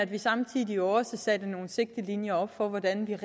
vi samtidig også satte nogle sigtelinjer op for hvordan vi